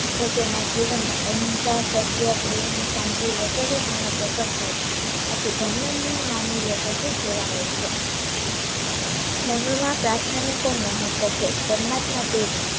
તો તેના જીવનમાં અહિંસા સત્ય પ્રેમ શાંતિ વગેરે ગુણો પ્રકટ થાય છે. આથી ધર્મહીન માનવીઓ પશુ જેવા હોઈ છે ધર્મમાં પ્રાર્થનાનું પણ મહત્વ છે. પરમાત્માને